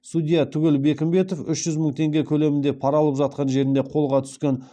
судья түгел бекімбетов үш жүз мың теңге көлемінде пара алып жатқан жерінде қолға түскен